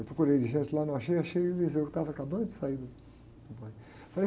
Eu procurei lá, não achei, achei o que estava acabando de sair do, do banho.